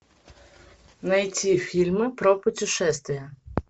найти фильмы про путешествия